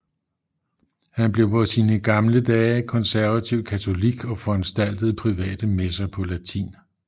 Han blev på sine gamle dage konservativ katolik og foranstaltede private messer på latin